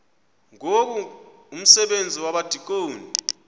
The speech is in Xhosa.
ngoku umsebenzi wabadikoni